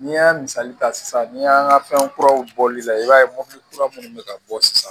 N'i y'a misali ta sisan ni y'an ka fɛn kuraw bɔli la i b'a ye mobili kura minnu bɛ ka bɔ sisan